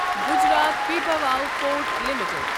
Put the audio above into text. Gujarat Pipavav port limited